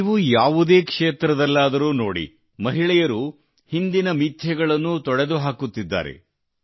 ನೀವು ಯಾವುದೇ ಕ್ಷೇತ್ರದಲ್ಲಾದರೂ ನೋಡಿ ಮಹಿಳೆಯರು ಹಿಂದಿನ ಮಿಥ್ಯೆಗಳನ್ನು ತೊಡೆದುಹಾಕುತ್ತಿದ್ದಾರೆ